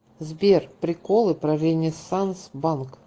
сбер приколы про ренессанс банк